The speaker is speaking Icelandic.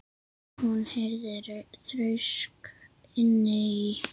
Hún heyrði þrusk inni í